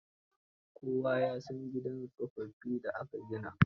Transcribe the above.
Kowa ya san gidan tsofaffin da aka gina.